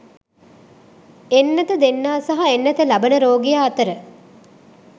එන්නත දෙන්නා සහ එන්නත ලබන රෝගියා අතර